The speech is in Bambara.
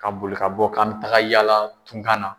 Ka boli ka bɔ k'an mi taga yala tunkan na.